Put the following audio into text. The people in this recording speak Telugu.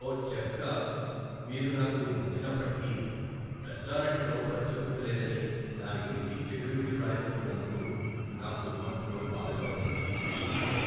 ఓ చెఫ్గా మీరు నాకు నచ్చినప్పటికీ, రెస్టారెంట్లో పరిశుభ్రత లేదని దాని గురించి చెడు రివ్యూ రాయబోతున్నందుకు నాకు మనసులో బాధగా ఉంది.